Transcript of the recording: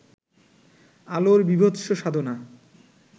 আলোর বীভৎস সাধনা